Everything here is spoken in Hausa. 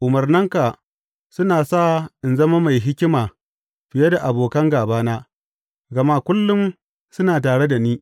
Umarnanka suna sa in zama mai hikima fiye da abokan gābana, gama kullum suna tare da ni.